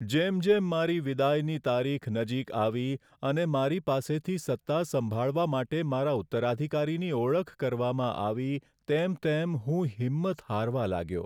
જેમ જેમ મારી વિદાયની તારીખ નજીક આવી અને મારી પાસેથી સત્તા સંભાળવા માટે મારા ઉત્તરાધિકારીની ઓળખ કરવામાં આવી તેમ તેમ હું હિંમત હારવા લાગ્યો.